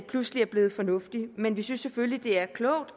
pludselig er blevet fornuftig men vi synes selvfølgelig det er klogt